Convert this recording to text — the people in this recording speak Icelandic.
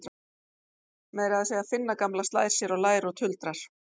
Meira að segja Finna gamla slær sér á lær og tuldrar